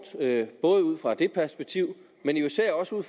både ud fra det perspektiv